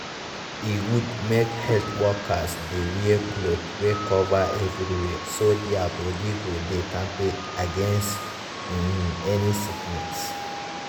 e good make health workers dey wear cloth wey cover everywhere so their body go dey kampe against um any sickness.